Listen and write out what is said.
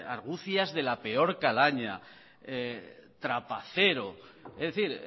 argucias de la peor calaña trapacero es decir